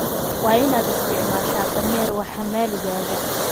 waa in aad isticmaashaa dhameer wax xamaligaaga